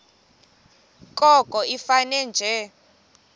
koko ifane nje